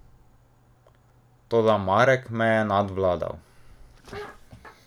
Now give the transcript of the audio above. Toda Marek me je nadvladal.